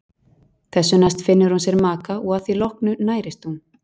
Þessu næst finnur hún sér maka og að því loknu nærist hún.